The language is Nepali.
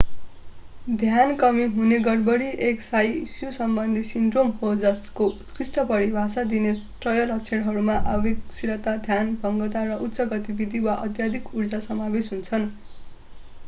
ध्यान कमी हुने गडबडी एक स्नायु समबन्धी सिन्ड्रोम हो जसको उत्कृष्ट परिभाषा दिने त्रय लक्षणहरूमा आवेगशीलता ध्यानभङ्गता र उच्च गतिविधि वा अत्यधिक ऊर्जा समावेश हुन्छन्